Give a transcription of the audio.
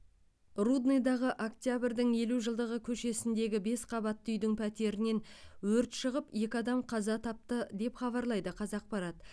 рудныйдағы октябрьдің елу жылдығы көшесіндегі бес қабатты үйдің пәтерінен өрт шығып екі адам қаза тапты деп хабарлайды қазақпарат